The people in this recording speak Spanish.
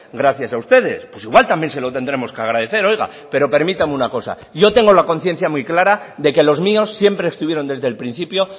gracias a ustedes pues igual también se lo tendremos que agradecer oiga pero permítame una cosa yo tengo la conciencia muy clara de que los míos siempre estuvieron desde el principio